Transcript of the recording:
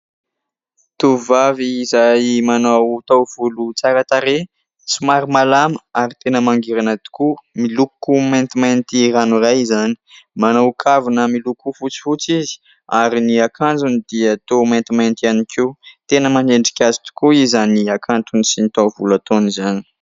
Tovovavy izay manao taovolo tsara tarehy, somary malama ary tena mangirana tokoa, miloko maintimainty ranoray izany, manao kavina miloko fotsifotsy izy, ary ny akanjony dia toa maintimainty ihany koa. Tena manendrika azy tokoa izany hakantony sy ny taovolo ataony izany.